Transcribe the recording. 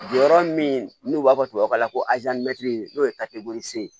Jɔyɔrɔ min n'u b'a fɔ tubabukan na ko n'o ye ye